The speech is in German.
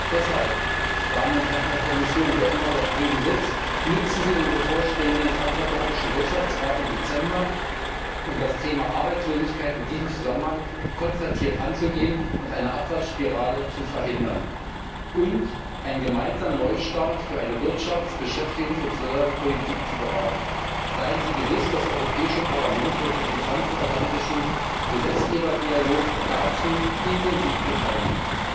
Deshalb, meine Damen und Herren der Kommission, wer immer dort drüben sitzt Nutzen sie den bevorstehenden Transatlantischen Wirtschaftsrat im Dezember, um das Thema Arbeitslosigkeit in diesem Zusammenhang konzertiert anzugehen und eine Abfahrtsspirale zu verhindern und einen gemeinsamen Neustart für eine Wirtschafts Beschäftigungs und Sozialpolitik zu beraten. Seien Sie gewiss, das Europäische Parlament wird sich im transatlantischen Gesetzgeberdialog dazu intensiv beteiligen.